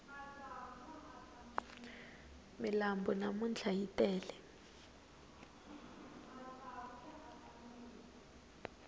milambu namntlha yi tele